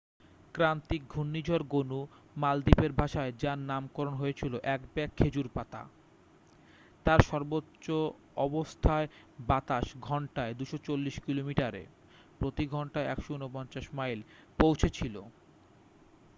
ক্রান্তীয় ঘূর্ণিঝড় গনু মালদ্বীপের ভাষায় যার নামকরণ হয়েছিল এক ব্যাগ খেজুর পাতা তার সর্বোচ্চ অবস্থায় বাতাস ঘন্টায় ২৪০ কিলোমিটারে প্রতি ঘন্টায় ১৪৯ মাইল পৌঁছেছিল।